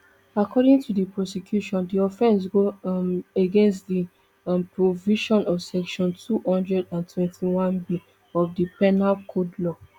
according to di prosecution di offence go um against di um provision of section two hundred and twenty-oneb of di penal code law